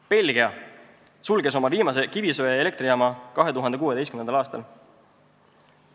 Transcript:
Belgia sulges oma viimase kivisöeelektrijaama 2016. aastal.